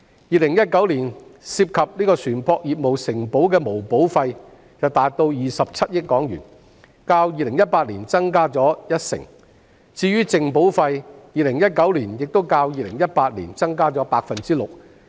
2019年涉及船舶業務承保的毛保費達27億港元，較2018年增加一成，至於淨保費 ，2019 年亦較2018年增加 6%。